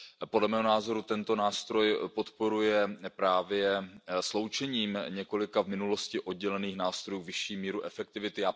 Podle mého názoru tento nástroj podporuje právě sloučením několika v minulosti oddělených nástrojů vyšší míru efektivity.